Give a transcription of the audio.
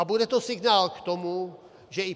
A bude to signál k tomu, že i